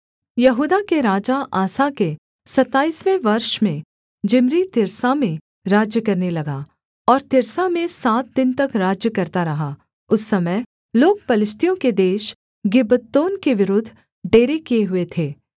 यहूदा के राजा आसा के सताईसवें वर्ष में जिम्री तिर्सा में राज्य करने लगा और तिर्सा में सात दिन तक राज्य करता रहा उस समय लोग पलिश्तियों के देश गिब्बतोन के विरुद्ध डेरे किए हुए थे